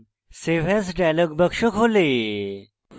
save as dialog box খোলে